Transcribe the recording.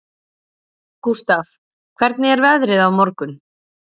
Gústaf, hvernig er veðrið á morgun?